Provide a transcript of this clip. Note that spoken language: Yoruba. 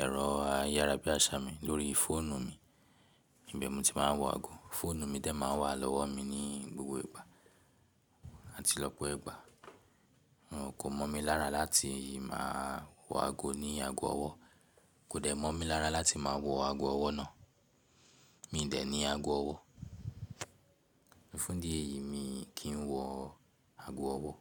ẹ̀rọ ayárabíàṣá mi, lórí fóònù mi. Ìbẹ̀ mo ti máa ń wọ aago. Fóònù mi dẹ̀ máa ń wà lọ́wọ́ mi ní gbogbo ìgbà àti lọ́pọ̀ ìgbà. Mo kò mọ̀ mí lára láti máa wọ aago ní aago ọwọ́. Kò de mí mọ̀ mí lára láti máa wọ aago ọwọ́ náà. Mi ò dẹ̀ ní aago ọwọ́. Fún idí ẹ̀yìí, mi kì í wọ aago ọwọ́